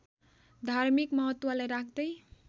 धार्मिक महत्त्वलाई राख्दै